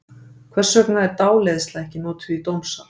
Hvers vegna er dáleiðsla ekki notuð í dómsal?